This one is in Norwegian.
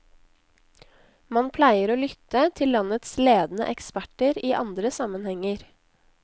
Man pleier å lytte til landets ledende eksperter i andre sammenhenger.